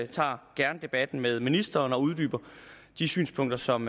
tager gerne debatten med ministeren og uddyber de synspunkter som